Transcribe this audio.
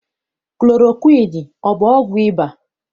Klorokwiini ọ bụ ọgwụ ịba?